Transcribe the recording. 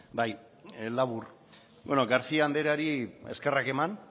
bai labur bueno garcía andreari eskerrak eman